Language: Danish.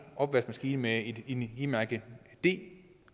opvaskemaskine med e mærket d